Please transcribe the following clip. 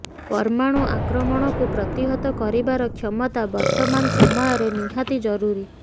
ପରମାଣୁ ଆକ୍ରମଣକୁ ପ୍ରତିହତ କରିବାର କ୍ଷମତା ବର୍ତ୍ତମାନ ସମୟରେ ନିହାତି ଜରୁରୀ